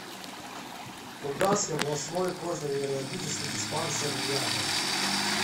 курганский областной кожно венерологический диспансер рядом